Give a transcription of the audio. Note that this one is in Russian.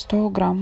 сто грамм